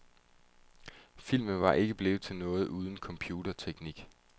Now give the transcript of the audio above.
Filmen var ikke blevet til noget uden computerteknik.